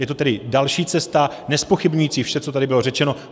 Je to tedy další cesta, nezpochybňující vše, co tady bylo řečeno.